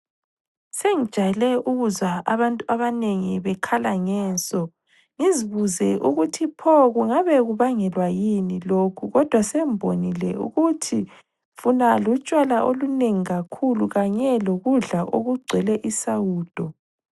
Sengijayele ukuzwa abantu abanengi bekhala ngenso, ngizibuze ukuthi pho kungabe kubangelwa yini lokho. Kodwa sengibonile ukuthi lutshwala olunengi kakhulu kanye lokudla okugcwele isawudo.